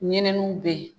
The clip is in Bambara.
Ɲininiw bɛ yen